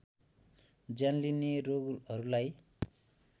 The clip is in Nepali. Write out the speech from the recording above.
ज्यान लिने रोगहरुलाई